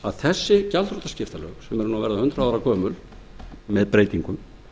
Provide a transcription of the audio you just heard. að þessi gjaldþrotaskiptalög sem eru að verða hundrað ára gömul með breytingum